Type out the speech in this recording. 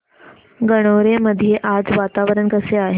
गणोरे मध्ये आज वातावरण कसे आहे